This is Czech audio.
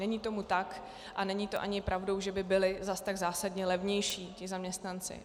Není tomu tak a není to ani pravdou, že by byli zase tak zásadně levnější ti zaměstnanci.